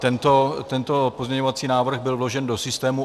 Tento pozměňovací návrh byl vložen do systému.